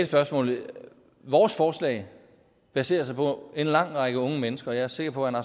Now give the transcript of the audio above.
spørgsmålet vores forslag baserer sig på en lang række unge mennesker og jeg er sikker på at